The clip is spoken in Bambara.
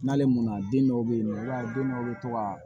N'ale mɔnna den dɔw bɛ yen nɔ i b'a ye den dɔw bɛ to ka